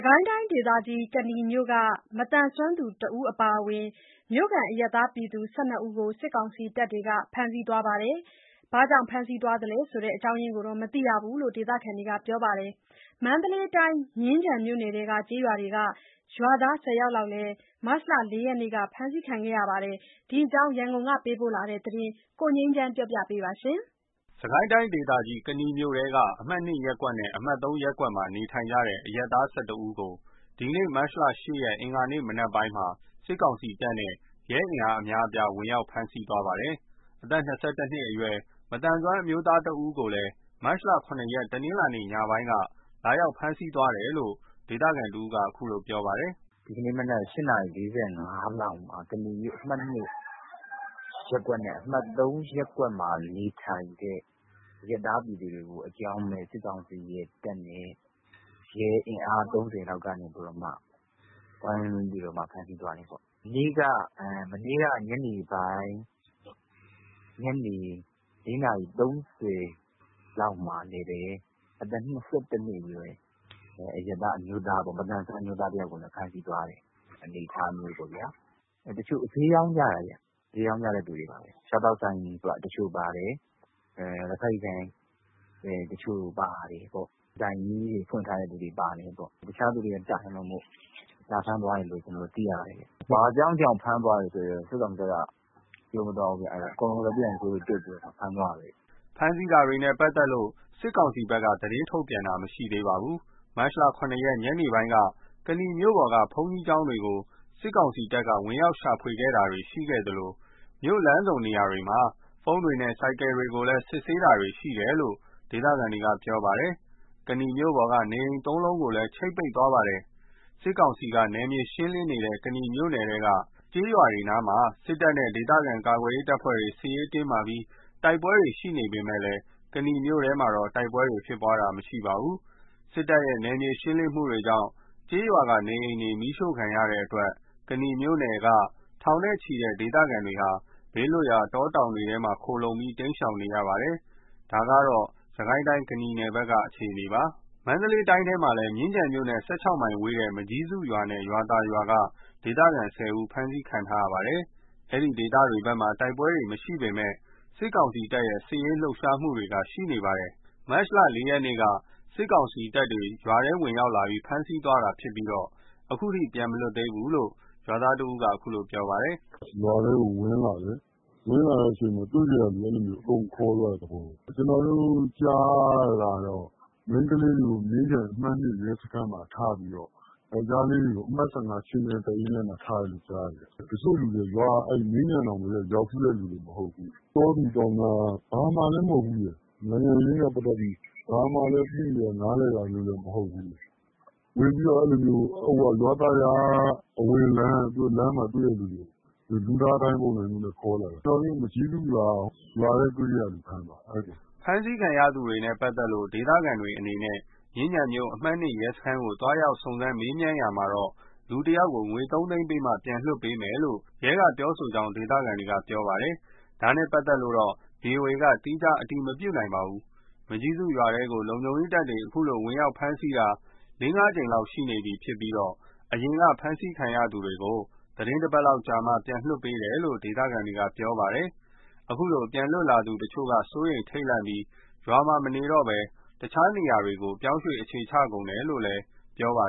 ကိုင်းတိုင်းဒေသကြီး ကနီမြို့က မသန်စွမ်းသူ ၁ ယောက်အပါအဝင် မြို့ခံအရပ်သား ၁၂ ဦးကို စစ်ကောင်စီတပ်တွေက ဖမ်းဆီးသွားပါတယ်။ ဘာအကြောင်းကြောင့်ဖမ်းဆီးသွားလဲဆိုတာ မသိရဘူးလို့ ဒေသခံတွေက ပြောပါတယ်။ မန္တလေးတိုင်း မြင်းခြံမြို့နယ်ထဲက ကျေးရွာတွေကနေ ရွာသား ၁၀ ယောက်လည်း မတ်လ ၄ ရက်နေ့က ဖမ်းဆီးခံခဲ့ရပါတယ်။ ဒီအကြောင်း ရန်ကုန်က ပေးပို့တဲ့သတင်းကို ကိုငြိမ်းချမ်းက တင်ပြပေးထားပါတယ်။ စစ်ကိုင်းတိုင်းဒေသကြီး ကနီမြို့ထဲက အမှတ် ၂ ရပ်ကွက်နဲ့ အမှတ် ၃ ရပ်ကွက်တွေမှာ နေထိုင်တဲ့ အရပ် သား ၁၁ ဦးကို ဒီကနေ့ မတ်လ ၈ ရက် အင်္ဂါနေ့ မနက်ပိုင်းမှာ စစ်ကောင်စီတပ်နဲ့ ရဲ အင်အားအများအပြားနဲ့ ဝင်ရောက် ဖမ်းဆီးသွားပါတယ်။ အသက် ၂၁ နှစ်အရွယ် မသန်စွမ်းအမျိုးသားတဦးကိုလည်း မတ်လ ၇ ရက် တနင်္လာနေ့ ညနေပိုင်းက လာရောက်ဖမ်းဆီးသွားတယ်လို့ ဒေသခံတဦးက အခုလိုပြောပါတယ်။ “ဒီကနေ့မနက်က ၈ နာရီ ၄၅ လောက်မှာ ကနီမြို့ အမှတ် ၂ ရပ်ကွက်နဲ့ အမှတ် ၃ ရပ်ကွက်မှာ နေထိုင်တဲ့ အရပ်သားပြည်သူတွေကို အကြောင်းမဲ့ စစ်ကောင်စီရဲ့တပ်နဲ့ ရဲအင်အား ၃၀ လောက်ကနေပြီး ဝိုင်းဝန်းပြီးတော့ ဖမ်းဆီးသွားတယ်ပေါ့။ မနေ့ကညနေပိုင်း ညနေ ၄ နာရီ ၃၀ လောက်မှာလည်း အသက် ၂၁ နှစ်အရွယ် အရပ်သား အမျိုးသားမသန်စွမ်း အမျိုးသားတယောက်ကိုလည်း ဖမ်းဆီးသွားတဲ့ အနေအထားမျိုးပေါ့ဗျာ။ တချို့က ဈေးရောင်းကြတာ စားသောက်ဆိုင်တချို့ပါတယ်။ လက်ဖက်ရည်ဆိုင်ဖွင့်ထားတဲ့သူတွေပါတယ်။ ဆိုင်ကြီးတွေပေါ့။ တခြားသူတွေက တိုင်လို့လာဖမ်းသွားတယ်လို့ ကျွန်တော်တို့သိရတယ်။ ဘာကြောင့် ဖမ်းသွားတယ်ဆိုတာတော့ စစ်ကောင်စီက ပြောမသွားဘူး။ အကုန်လက်ပြန်ကြိုးတုပ်ပြီး ဖမ်းသွားတာပဲ။” ဖမ်းဆီးတာတွေနဲ့ ပတ်သက်လို့ စစ်ကောင်စီဘက်က သတင်းထုတ်ပြန်တာ မရှိသေးပါဘူး။ မတ် ၇ ရက် ညနေပိုင်းက ကနီမြို့ပေါ်က ဘုန်းကြီးကျောင်းတွေကို စစ်ကောင်စီတပ်တွေ ဝင်ရောက်ရှာဖွေတာတွေ ရှိသလို မြို့လမ်းဆုံနေရာတွေမှာ ဖုန်းတွေနဲ့ ဆိုင်ကယ်တွေကို စစ်ဆေးတာတွေလည်း ရှိတယ်လို့ ဒေသခံတွေကပြောပါတယ်။ ကနီမြို့ပေါ်က နေအိမ် ၃ လုံးကိုလည်း ချိတ်ပိတ်သွားပါတယ်။ စစ်ကောင်စီက နယ်မြေရှင်းလင်းနေတဲ့ ကနီမြို့နယ်ထဲက ကျေးရွာတွေနားမှာ စစ်တပ်နဲ့ ဒေသခံကာကွယ်ရေးတပ်ဖွဲ့တို့ စစ်ရေးတင်းမာပြီး တိုက်ပွဲတွေရှိနေပေမဲ့ ကနီမြို့ပေါ်မှာ တိုက်ပွဲဖြစ်ပွားတာမျိုး မရှိပါဘူး။ စစ်တပ်ရဲ့ နယ်မြေရှင်းလင်းမှုတွေကြောင့် ကျေးရွာက နေအိမ်တွေမီးရှို့ခံရတဲ့အတွက် ကနီမြို့နယ်ထဲက ထောင်နဲ့ချီတဲ့ ဒေသခံတွေဟာ ဘေးလွတ်ရာတောတောင်တွေထဲ ခိုလှုံပြီး တိမ်းရှောင်နေကြရပါတယ်။ ဒါက စစ်ကိုင်းတိုင်း ကနီနယ်ဘက်က အခြေအနေပါ။ မန္တလေးတိုင်းထဲမှာလည်း မြင်းခြံမြို့နဲ့ ၁၆ မိုင်ဝေးတဲ့ မကျည်းစုရွာနဲ့ ရွာသာရွာက ဒေသခံ ၁၀ ဦး ဖမ်းဆီးခံထားရပါတယ်။ အဲဒီဒေသတွေဘက်မှာ တိုက်ပွဲတွေမရှိပေမဲ့ စစ်ကောင်စီတပ်တွေရဲ့ စစ်ရေးလှုပ်ရှားမှုတွေတော့ ရှိနေပါတယ်။ မတ်လ ၄ ရက်နေ့က စစ်ကောင်စီတပ်တွေ ရွာထဲ ဝင်ရောက်လာပြီး ဖမ်းဆီးသွားတာဖြစ်ပြီး အခုထိ ပြန်လွတ်မလာသေးဘူးလို့ ရွာသား ၁ ယောက်က ပြောပြပါတယ်။ “ရွာထဲကို ဝင်လာတယ်။ ဝင်လာပြီး တွေ့ကရာလူ အကုန်လုံးကို ဖမ်းသွားတဲ့သဘောပဲ။ ကျနော်တို့ ကြားရတာတော့ မိန်းကလေးတွေကို အမှတ် ၂ ရဲစခန်းမှာ ထားပြီးတော့ ယောက်ကျားလေးတွေကို အမှတ် ၁၅ ခြေမြန်တပ်ရင်းထဲမှာ ထားတယ်လို့ကြားတယ်။ တချို့လူတွေက မြင်းခြံတောင် ရောက်ဖူးတဲ့သူတွေမဟုတ် ဘူး။ တောသူတောင်သား ဘာမှလည်း မဟုတ်ဘူးရယ်။ နိုင်ငံရေးနဲ့ပတ်သက်ပြီး သိပြီးဘာမှနားလည်တာလည်းမဟုတ်ဘူး။ ဝင်ပြီးတော့ ရွာသာရွာက လမ်းမှာတွေ့တဲ့လူတွေကို လူသားဒိုင်းအနေနဲ့ ခေါ်လာတယ်။ ကျနော်တို့ မကျည်းစုရွာက တွေ့တဲ့သူတွေကို ဖမ်းသွားတယ်။” ဖမ်းဆီးခံရသူတွေနဲ့ ပတ်သက်လို့ ဒေသခံတွေအနေနဲ့ မြင်းခြံမြို့ အမှတ် (၂) ရဲစခန်းကို သွားရောက်မေးမြန်း စုံစမ်းရာမှာတော့ လူတယောက်ကို ငွေ ၃ သိန်းပေးမှ ပြန်လွှတ်ပေးမယ်လို့ ရဲက ပြောဆိုကြောင်း ဒေသခံတွေက ပြောပါတယ်။ ဒါနဲ့ပတ်သက်လို့ ဗွီအိုအေက သီးခြားအတည်မပြုနိုင်ပါဘူး။ မကျည်းစုရွာထဲကို လုံခြုံရေးတပ်တွေ ခုလို ဝင်ရောက်ဖမ်ဆီးတာ ၄-၅ ကြိမ်လောက်ရှိနေပြီး အရင် ဖမ်းဆီးခံရသူတွေကို သီတင်း ၁ ပတ်လောက်အကြာမှာ ပြန်လွှတ်ပေးတယ်လို့ ဒေသခံတွေက ပြောပါတယ်။ အဲဒီလို ပြန်လွတ်လာသူတချို့က စိုးရိမ်ထိတ်လန့်ပြီး ရွာမှာ မနေတော့ဘဲ အခြားနေရာတွေကို ပြောင်းရွှေ့အခြေချကုန်တယ်လို့လည်း ပြောပါ